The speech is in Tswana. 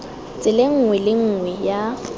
tseleng nngwe le nngwe ya